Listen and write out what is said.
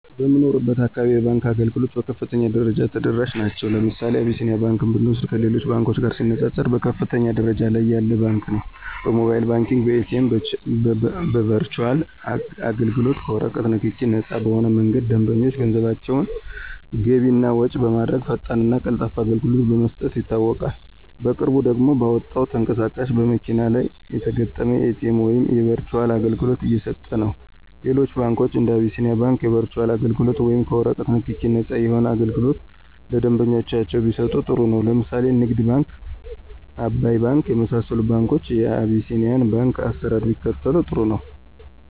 በምኖርበት አካባቢ የባንክ አገልግሎቶች በከፍተኛ ደረጃ ተደራሽ ናቸዉ። ለምሳሌ አብሲኒያ ባንክ ብንወስድ ከሌሎች ባንኮች ጋር ሲነፃፀር በከፍተኛ ደረጃ ላይ ያለ ባንክ ነው። በሞባይል ባንኪንግ፣ በኤቲኤም፣ በበርቹአል አገልግሎት፣ ከወረቀት ንክኪ ነፃ በሆነ መንገድ ደንበኞች ገንዘባቸውን ገቢ እና ወጭ በማድረግ ፈጣንና ቀልጣፋ አገልግሎት በመስጠት ይታወቃል። በቅርቡ ደግሞ ባመጣው ተንቀሳቃሽ በመኪና ላይ የተገጠመላቸው የኤቲኤም ወይም የበርቹአል አገልግሎት እየሰጠነው። ሌሎች ባንኮች እንደ አቢስኒያ ባንክ የበርቹአል አገልግሎት ወይም ከወረቀት ንክኪ ነፃ የሆነ አገልግሎት ለደንበኞቻቸው ቢሰጡ ጥሩ ነው። ለምሳሌ ንግድ ባንክ፣ አባይ ባንክ የመሳሰሉት ባንኮች የቢሲኒያን ባንክ አሰራር ቢከተሉ ጥሩ ነው።